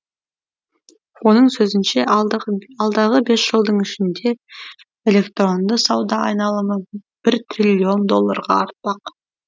оның сөзінше алдағы бес жылдың ішінде электронды сауда айналымы бір триллион долларға артпақ